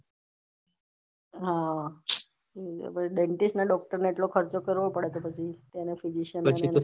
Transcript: હા ભાઈ દેન્તીસ ના ડોક્ટર ને એટલો ખર્ચો કરવો પડે તો પછી આના physician ના